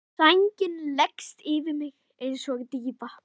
Sængin leggst yfir mig einsog dýfa.